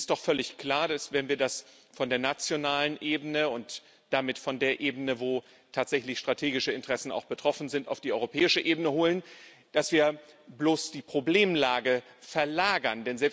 Denn es ist doch völlig klar, dass, wenn wir das von der nationalen Ebene und damit von der Ebene, wo tatsächlich strategische Interessen auch betroffen sind, auf die europäische Ebene holen, wir bloß die Problemlage verlagern.